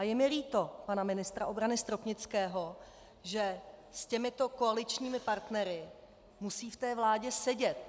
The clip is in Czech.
A je mi líto pana ministra obrany Stropnického, že s těmito koaličními partnery musí v té vládě sedět.